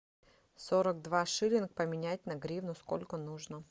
сорок два шиллинга поменять на гривну сколько нужно